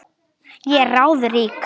Ég er ráðrík.